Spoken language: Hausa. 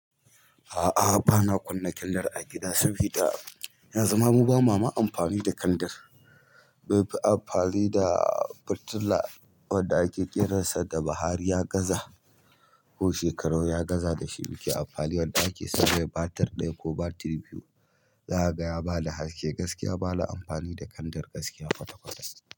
A'a, ba na kunna kandar a gida saboda yan zuma mu ba ma ma amfani da kandar. Mai amfani da fitila wadda ake kiransa da bahariya gaza ko shekaru ya gaza da shi, muke amfani a ɗaki soboda batir ɗaya ko batir biyu. Za a ga ya ba da haske gaskiya, ba na amfani da kandar gaskiya kwata-kwata.